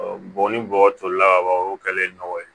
Bɔn ni bɔgɔ tolila ka ban o kɛlen nɔ ye